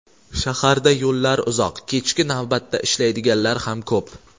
Shaharda yo‘llar uzoq, kechki navbatda ishlaydiganlar ham ko‘p.